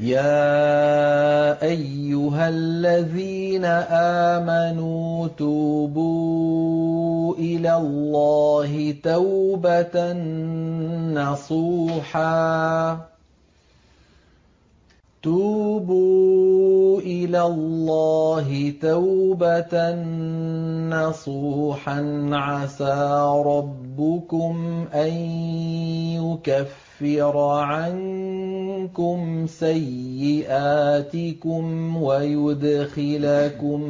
يَا أَيُّهَا الَّذِينَ آمَنُوا تُوبُوا إِلَى اللَّهِ تَوْبَةً نَّصُوحًا عَسَىٰ رَبُّكُمْ أَن يُكَفِّرَ عَنكُمْ سَيِّئَاتِكُمْ وَيُدْخِلَكُمْ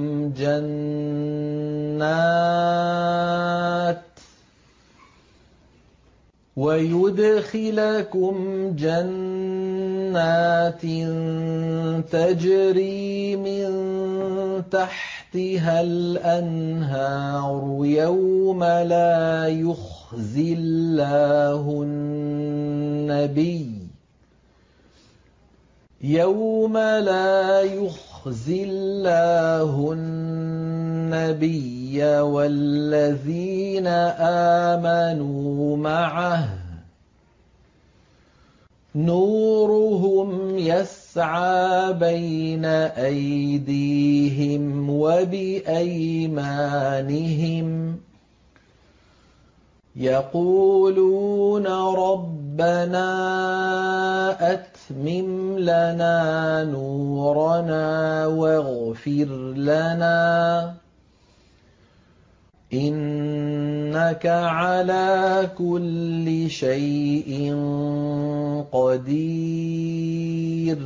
جَنَّاتٍ تَجْرِي مِن تَحْتِهَا الْأَنْهَارُ يَوْمَ لَا يُخْزِي اللَّهُ النَّبِيَّ وَالَّذِينَ آمَنُوا مَعَهُ ۖ نُورُهُمْ يَسْعَىٰ بَيْنَ أَيْدِيهِمْ وَبِأَيْمَانِهِمْ يَقُولُونَ رَبَّنَا أَتْمِمْ لَنَا نُورَنَا وَاغْفِرْ لَنَا ۖ إِنَّكَ عَلَىٰ كُلِّ شَيْءٍ قَدِيرٌ